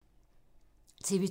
TV 2